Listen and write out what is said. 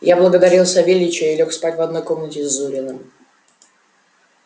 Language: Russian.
я благодарил савельича и лёг спать в одной комнате с зуриным